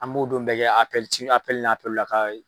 An b'o don bɛɛ ci ka